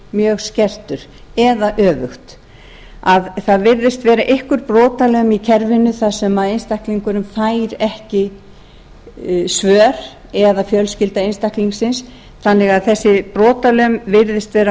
mjög skertur eða öfugt það virðist vera einhver brotalöm í kerfinu þar sem einstaklingurinn fær ekki svör eða fjölskylda einstaklingsins þannig að þessi brotalöm virðist vera